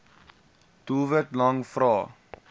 doelwit lang vrae